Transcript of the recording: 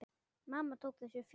Mamma tók þessu fjarri.